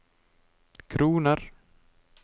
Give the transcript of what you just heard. kroner